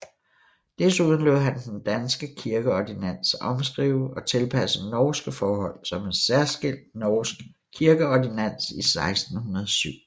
Desuden lod han den danske kirkeordinans omskrive og tilpasse norske forhold som en særskilt norsk kirkeordinans i 1607